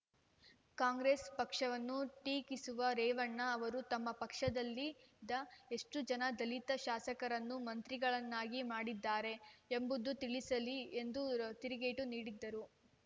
ಕಾಂಗ್ರೆಸ್‌ ಪಕ್ಷವನ್ನು ಟೀಕಿಸುವ ರೇವಣ್ಣ ಅವರು ತಮ್ಮ ಪಕ್ಷದಲ್ಲಿದ ಎಷ್ಟುಜನ ದಲಿತ ಶಾಸಕರನ್ನು ಮಂತ್ರಿಗಳನ್ನಾಗಿ ಮಾಡಿದ್ದಾರೆ ಎಂಬುದನ್ನು ತಿಳಿಸಲಿ ಎಂದು ತಿರುಗೇಟು ನೀಡಿದರು